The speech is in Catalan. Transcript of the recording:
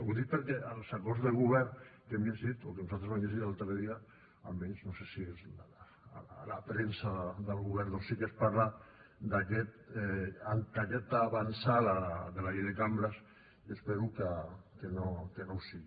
ho dic perquè als acords de govern que hem llegit o que nosaltres vam llegir l’altre dia almenys no sé si és a la premsa del govern doncs sí que es parla d’aquesta avantsala de la llei de cambres i espero que no ho sigui